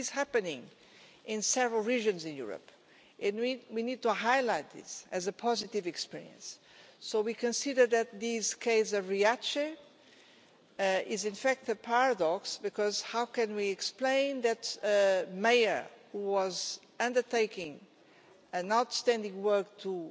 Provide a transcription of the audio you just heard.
This is happening in several regions in Europe, and we need to highlight this as a positive experience. We consider that this case of Riace is in fact a paradox, because how can we explain that a mayor who was undertaking outstanding work to